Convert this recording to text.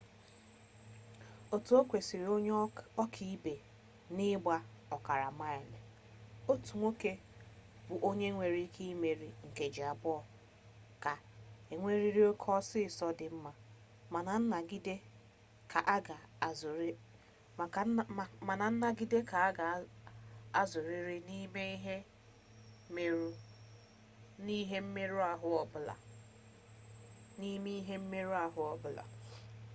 otu okwesiri onye oka-ibe na igba okara-maili otu nwoke bu onue nwere ike imeri nkeji abuo ga enweriri oke osiso di nma mana nnagide ka aga azuriri nime ihe mmeru-ahu obula